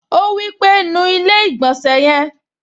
Ó wí pé, "nu ilé-ìgbọ̀nsẹ̀ yẹn"